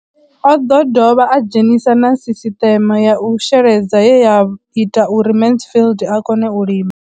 O ḓo dovha a dzhenisa na sisiṱeme ya u sheledza ye ya ita uri Mansfied a kone u lima.